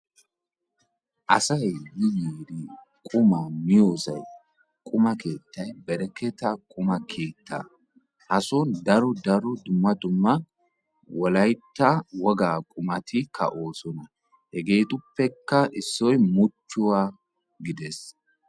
Asay yi yiidi qumaa miyoosay bereketta qumma keettay beetees. asaon daro dumma dumma wogaa qummati beetosona.